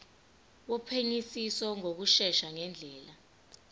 wophenyisiso ngokushesha ngendlela